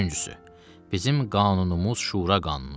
Üçüncüsü, bizim qanunumuz şura qanunudur.